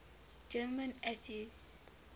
german atheists